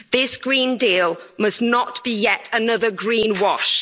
This Green Deal must not be yet another greenwash.